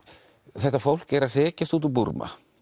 þetta fólk er að hrekjast út úr Búrma